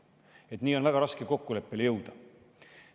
Niimoodi on väga raske kokkuleppele jõuda.